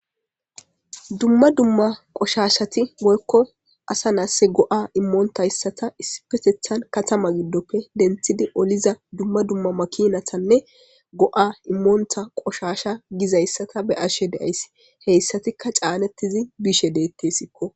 dumma dumma qoshashati moykko asa nasse go7a immoontayssata isipetethan katama giddoppe denthidi oliza dumma dumma makinathanne go7a immoonta qoshasha gizayssata be ashe deays heyssatikka caanettizi bishe deettesikko